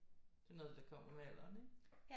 Sådan noget det kommer med alderen ikke